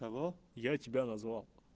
алло я тебя назвал